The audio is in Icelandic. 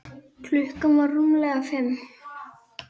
Klukkan var rúmlega fimm.